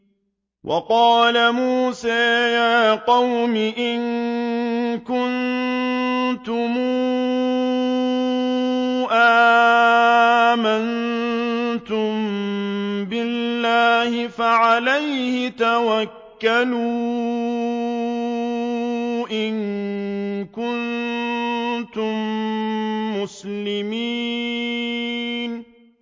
وَقَالَ مُوسَىٰ يَا قَوْمِ إِن كُنتُمْ آمَنتُم بِاللَّهِ فَعَلَيْهِ تَوَكَّلُوا إِن كُنتُم مُّسْلِمِينَ